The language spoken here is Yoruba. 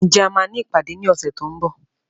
Ǹjẹ́ a máa ní ìpàdé ní ọ̀sẹ̀ tí ó ń bọ̀